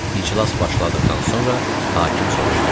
İclas başladıqdan sonra hakim soruşdu.